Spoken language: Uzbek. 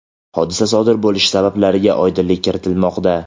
hodisa sodir bo‘lish sabablariga oydinlik kiritilmoqda.